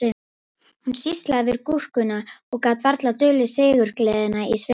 Hún sýslaði við gúrkuna og gat varla dulið sigurgleðina í svipnum